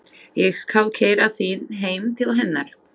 Ég skal keyra þig heim til hennar.